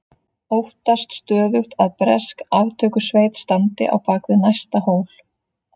Óttast stöðugt að bresk aftökusveit standi á bak við næsta hól.